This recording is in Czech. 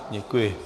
Děkuji.